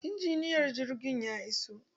Injiniyar jirgin ya iso.